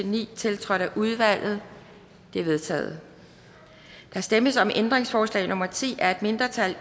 ni tiltrådt af udvalget de er vedtaget der stemmes om ændringsforslag nummer ti af et mindretal